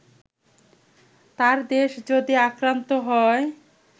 তার দেশ যদি আক্রান্ত হয়